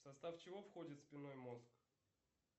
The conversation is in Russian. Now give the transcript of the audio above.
в состав чего входит спинной мозг